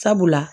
Sabula